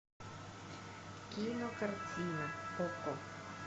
кинокартина окко